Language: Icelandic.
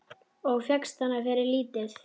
Og fékkst hana fyrir lítið!